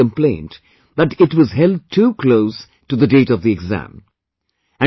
Some have even complained that it was held too close to the date of the exam